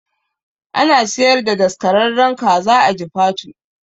Ana siyar da daskararren kaza a jifatu